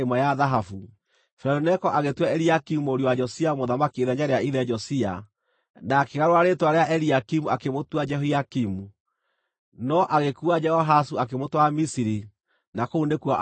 Firaũni Neko agĩtua Eliakimu mũriũ wa Josia mũthamaki ithenya rĩa ithe Josia, na akĩgarũra rĩĩtwa rĩa Eliakimu akĩmũtua Jehoiakimu, no agĩkuua Jehoahazu akĩmũtwara Misiri, na kũu nĩkuo aakuĩrĩire.